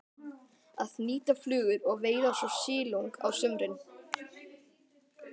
Að hnýta flugur og veiða svo silung á sumrin.